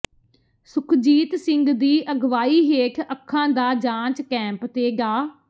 ਸੁਖਜੀਤ ਸਿੰਘ ਦੀ ਅਗਵਾਈ ਹੇਠ ਅੱਖਾਂ ਦਾ ਜਾਂਚ ਕੈਂਪ ਤੇ ਡਾ